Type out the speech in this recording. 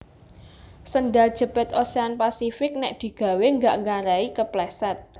Sendal jepit Ocean Pacific nek digawe gak nggarai kepleset